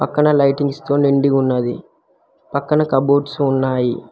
పక్కన లైటింగ్స్ తో నిండి ఉన్నది పక్కన కబోర్డ్స్ ఉన్నాయి.